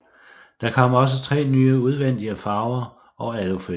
Der kom også tre nye udvendige farver og alufælge